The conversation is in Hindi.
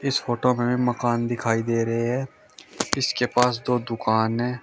इस फोटो में हमें मकान दिखाई दे रहे है इसके पास दो दुकान है।